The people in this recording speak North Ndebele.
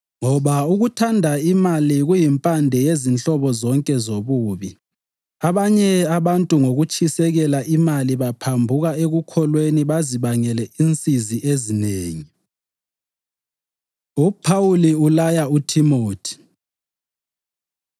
Ngoba ukuthanda imali kuyimpande yezinhlobo zonke zobubi. Abanye abantu ngokutshisekela imali baphambuka ekukholweni bazibangele insizi ezinengi. UPhawuli Ulaya UThimothi